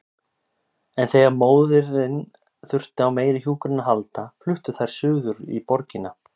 En þegar móðirin þurfti á meiri hjúkrun að halda fluttu þær suður í borgina.